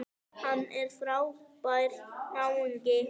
Hann er frábær náungi.